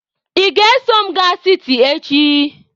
Ị ga-eso m gaa siti echi!.